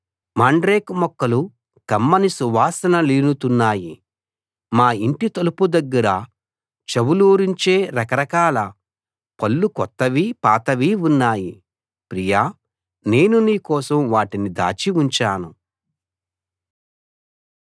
mandrake మొక్కలు కమ్మని సువాసనలీనుతున్నాయి మా ఇంటి తలుపు దగ్గర చవులూరించే రక రకాల పళ్ళు కొత్తవీ పాతవీ ఉన్నాయి ప్రియా నేను నీ కోసం వాటిని దాచి ఉంచాను